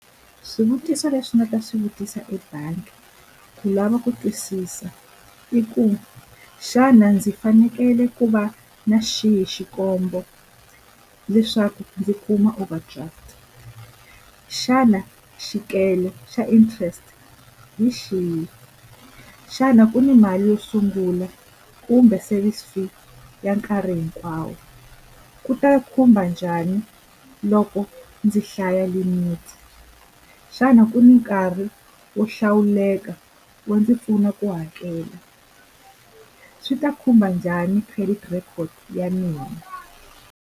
Swivutiso lexi nga ta swi vutisa ebangi ku lava ku twisisa i ku xana ndzi fanekele ku va na xihi leswaku ndzi kuma over draft xana xa interest hi xihi xana ku ni mali yo sungula kumbe service fee ya nkarhi hinkwawo ku ta khumba njhani loko ndzi hlaya limit xana ku ni nkarhi wo hlawuleka wo ndzi pfuna ku hakela swi ta khumba njhani credit record ya mina.